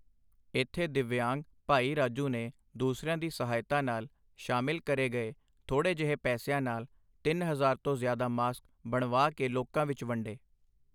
ਇੱਥੇ ਦਿਵਯਾਂਗ, ਭਾਈ ਰਾਜੂ ਨੇ ਦੂਸਰਿਆਂ ਦੀ ਸਹਾਇਤਾ ਨਾਲ ਸ਼ਾਮਿਲ ਕਰੇ ਗਏ ਥੋੜ੍ਹੇ ਜਿਹੇ ਪੈਸਿਆਂ ਨਾਲ ਤਿੰਨ ਹਜ਼ਾਰ ਤੋਂ ਜ਼ਿਆਦਾ ਮਾਸਕ ਬਣਵਾ ਕੇ ਲੋਕਾਂ ਵਿੱਚ ਵੰਡੇ।